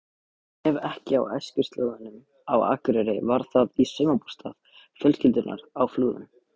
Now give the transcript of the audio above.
Ef ekki á æskuslóðunum á Akureyri var það í sumarbústað fjölskyldunnar á Flúðum.